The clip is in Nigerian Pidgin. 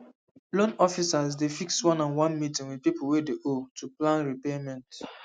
loan officers dey fix oneonone meeting with people wey dey owe to plan repayment